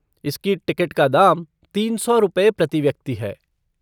इसकी टिकट का दाम तीन सौ रुपये प्रति व्यक्ति है।